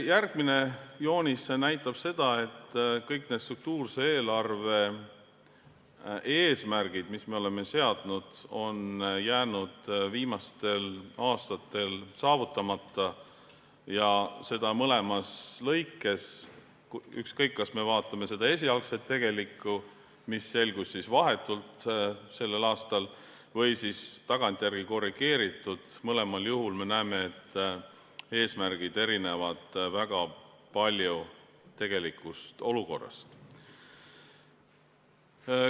Järgmine joonis näitab seda, et kõik struktuurse eelarve eesmärgid, mis me oleme seadnud, on jäänud viimastel aastatel saavutamata ja seda mõlemas arvestuses, ükskõik, kas me vaatame esialgset tegelikku, mis selgus vahetult sellel aastal, või siis tagantjärele korrigeeritut, mõlemal juhul me näeme, et eesmärgid erinevad väga palju tegelikust olukorrast.